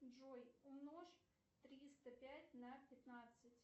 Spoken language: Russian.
джой умножь триста пять на пятнадцать